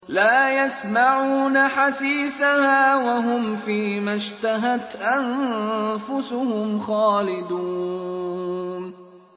لَا يَسْمَعُونَ حَسِيسَهَا ۖ وَهُمْ فِي مَا اشْتَهَتْ أَنفُسُهُمْ خَالِدُونَ